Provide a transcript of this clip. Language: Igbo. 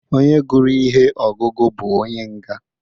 Onye gụrụ ihe ọgụgụ bụ onye nga.